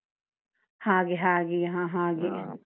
ಹಾಗೆ ಹಾಗೆ ಹ ಹಾಗೆ .